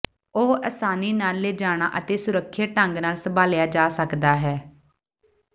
ਉਹ ਆਸਾਨੀ ਨਾਲ ਲਿਜਾਣਾ ਅਤੇ ਸੁਰੱਖਿਅਤ ਢੰਗ ਨਾਲ ਸੰਭਾਲਿਆ ਜਾ ਸਕਦਾ ਹੈ